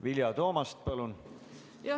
Vilja Toomast, palun!